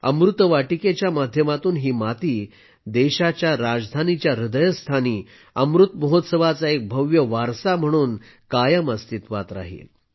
अमृतवाटिकेच्या माध्यमातून ही माती देशाच्या राजधानीच्या हृदयस्थानी अमृत महोत्सवाचा एक भव्य वारसा म्हणून कायम अस्तित्वात राहील